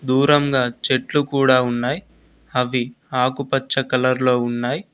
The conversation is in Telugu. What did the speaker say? దూరంగా చెట్లు కూడా ఉన్నాయి అవి ఆకుపచ్చ కలర్ లో ఉన్నాయి.